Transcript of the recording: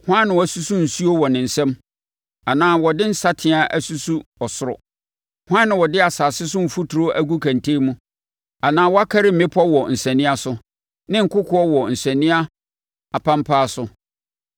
Hwan na wasusu nsuo wɔ ne nsam anaa ɔde ne nsateaa asusu ɔsoro? Hwan na ɔde asase so mfuturo agu kɛntɛn mu, anaa wakari mmepɔ wɔ nsania so ne nkokoɔ wɔ nsania apampaa so?